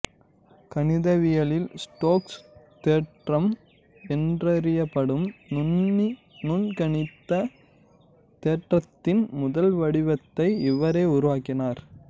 கணிதவியலில் Stokes தேற்றம் என்றறியப்படும் நுண்கணிதத் தேற்றத்தின் முதல்வடிவத்தை இவரே உருவாக்கினார்